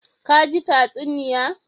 Ka ji tatsuniya.